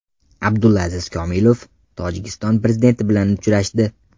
Abdulaziz Komilov Tojikiston prezidenti bilan uchrashdi.